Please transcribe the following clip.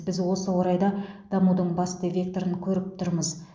біз осы орайда дамудың басты векторын көріп тұрмыз